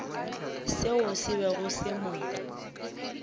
seo se bego se mo